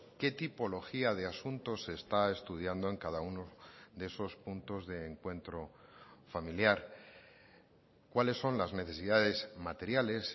qué tipología de asuntos se está estudiando en cada uno de esos puntos de encuentro familiar cuáles son las necesidades materiales